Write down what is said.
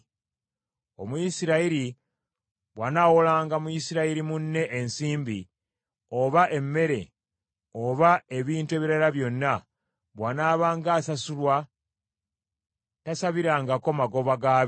“Omuyisirayiri bw’anaawolanga Muyisirayiri munne ensimbi, oba emmere, oba ebintu ebirala byonna, bw’anaabanga asasulwa tasabirangako magoba gaabyo.